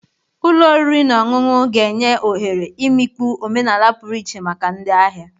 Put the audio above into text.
Ụlọ oriri na ọṅụṅụ ga-enye ohere imikpu omenala pụrụ iche maka ndị ahịa.